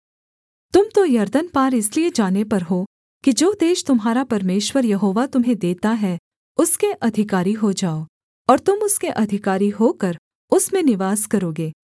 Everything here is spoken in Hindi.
तुम तो यरदन पार इसलिए जाने पर हो कि जो देश तुम्हारा परमेश्वर यहोवा तुम्हें देता है उसके अधिकारी हो जाओ और तुम उसके अधिकारी होकर उसमें निवास करोगे